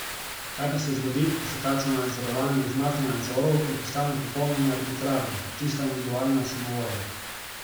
Kaj pa se zgodi, ko se takšno nadzorovanje izmakne nadzoru in postane popolnoma arbitrarno, čista individualna samovolja?